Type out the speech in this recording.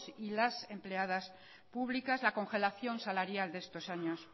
y las empleadas públicas la congelación salarial de estos años